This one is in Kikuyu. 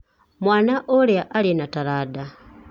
Mwana ũrĩa arĩ na taranda.